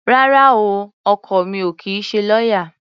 Rárá o, ọkọ mi ò kì í ṣe lọ́yá.